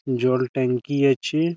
জল ট্যাংকি আছে।